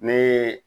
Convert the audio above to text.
Ne